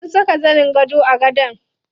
Sun saka zanin gado a gadon.